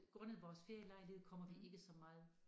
Grundet vores ferielejlighed kommer vi ikke så meget